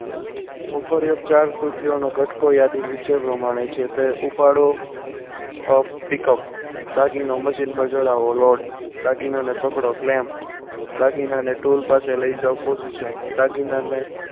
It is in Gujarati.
ઉપર યુક્ત ચાર કૃતિઓ કટકો યાદી નીચે પ્રમાણે છે. તે ઉપાડો pickup દાગીનો machine ઉપર ચઢાવો load દાગીના ને પકડો claim દાગીનાની tool પાસે લઈ જાઓ. position દાગીનાને